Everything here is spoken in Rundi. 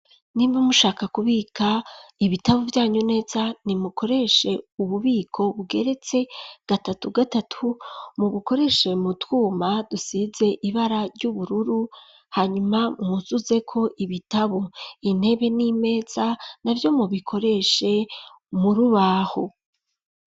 Nimba mushaka kubika ibitabo vyanyu neza ntimukoreshe ububiko bugeretse gatatu gatatu mu bukoreshe mu twuma dusize ibara ry'ubururu hanyuma nwuzuzeko ibitabo intebe n'imesa navyo mubikoreshe muri ubaho.